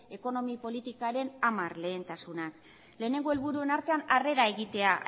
ekonomi politikaren hamar lehentasunak lehenengo helburuen artean harrera egitea